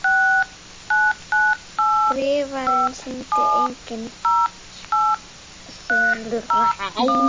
Skrifarinn sýndi engin svipbrigði.